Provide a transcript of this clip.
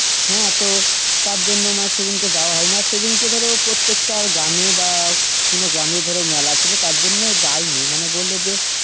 হ্যাঁ তো তার জন্য মানে সেদিনকে যাওয়া হয়নি আর সেদিন ধরো প্রত্যেকটা গ্রামে বা কোনও গ্রামে ধরো মেলা ছিল তার জন্য যায়নি মানে বলল যে.